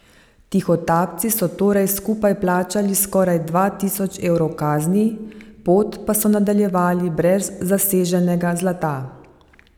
Tihotapci so torej skupaj plačali skoraj dva tisoč evrov kazni, pot pa so nadaljevali brez zaseženega zlata.